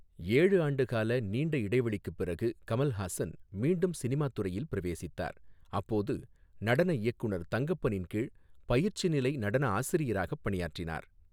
ஏழு ஆண்டுகால நீண்ட இடைவெளிக்குப் பிறகு கமல்ஹாசன் மீண்டும் சினிமா துறையில் பிரவேசித்தார், அப்போது நடன இயக்குநர் தங்கப்பனின் கீழ் பயிற்சிநிலை நடன ஆசிரியராகப் பணியாற்றினார்.